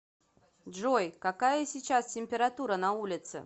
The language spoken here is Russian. джой какая сейчас температура на улице